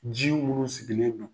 Ji munu sigilen don.